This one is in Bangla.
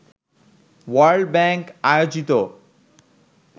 ওয়ার্ল্ড ব্যাংক আয়োজিত